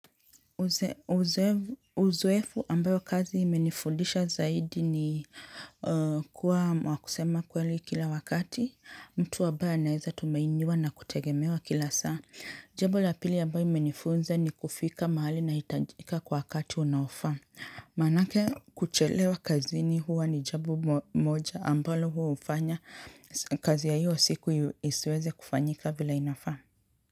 Uzoefu ambao kazi imenifundisha zaidi ni kuwa wa kusema ukweli kila wakati. Mtu ambaye anaeza tumainiwa na kutegemewa kila saa. Jambo la pili ambalo imenifunza ni kufika mahali nahitajika kwa wakati unaofaa. Manake kuchelewa kazini huwa ni jambo moja ambalo huwa hufanya. Kazi ya hiyo siku isiweze kufanyika vile inafaa.